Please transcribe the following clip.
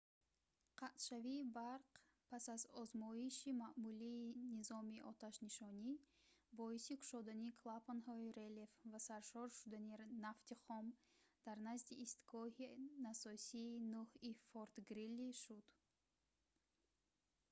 қатъшавии барқ пас аз озмоиши маъмулии низоми оташнишонӣ боиси кушодани клапанҳои релеф ва саршор шудани нафти хом дар назди истгоҳи насосии 9-и форт грили шуд